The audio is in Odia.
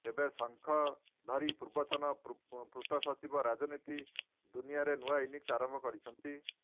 ଏବେ ଶଙ୍ଖ ଧରି ପୂର୍ବତନ ପୂର୍ତ୍ତ ସଚିବ ରାଜନୀତି ଦୁନିଆରେ ନୂଆ ଇଂନିସ ଆରମ୍ଭ କରିଛନ୍ତି